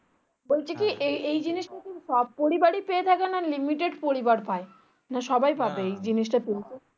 সব পরিবারই পেয়ে থাকে না limited পরিবার পাই না সবাই পাবে এই জিনিসটা